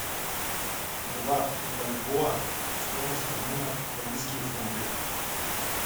два бальбоа стоимость обмена в английские фунты